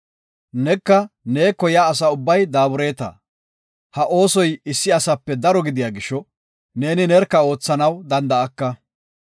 Neka neeko yaa asa ubbay daabureta. Ha oosoy issi asape daro gidiya gisho, neeni nerka oothanaw danda7aka.